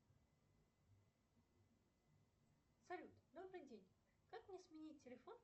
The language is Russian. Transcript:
салют добрый день как мне сменить телефон